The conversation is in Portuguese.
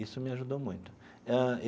Isso me ajudou muito ãh.